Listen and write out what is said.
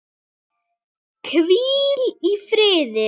Hvíl í friði!